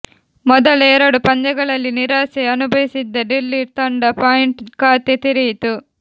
ಮೊದಲ ಎರಡು ಪಂದ್ಯಗಳಲ್ಲಿ ನಿರಾಸೆ ಅನುಭವಿಸಿದ್ದ ಡೆಲ್ಲಿ ತಂಡ ಪಾಯಿಂಟ್ ಖಾತೆ ತೆರೆಯಿತು